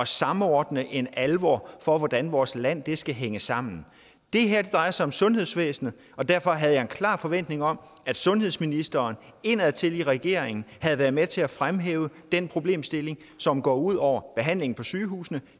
samordne en alvor for hvordan vores land skal hænge sammen det her drejer sig om sundhedsvæsenet og derfor har jeg en klar forventning om at sundhedsministeren indadtil i regeringen har været med til at fremhæve den problemstilling som går ud over behandlingen på sygehusene